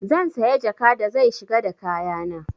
Zan saya jaka da zai shiga da kaya na.